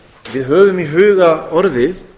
við höfum í huga orðið